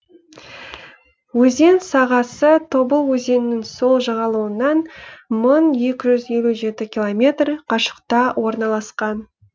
өзен сағасы тобыл өзенінің сол жағалауынан мың екі жүз елу жеті километр қашықта орналасқан